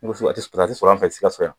a tɛ sɔrɔ an fɛ Sikaso yan